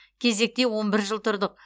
кезекте он бір жыл тұрдық